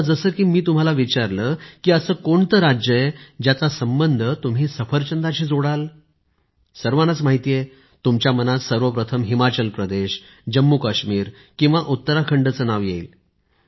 आता जसे की मी तुम्हाला विचारलं की असं कोणते राज्य आहे ज्याचा संबंध तुम्ही सफरचंदाशी जोडाल सर्वांनाच माहित आहे तुमच्या मनात सर्वप्रथम हिमाचल प्रदेश जम्मूकाश्मीर उत्तराखंडचे नाव येईल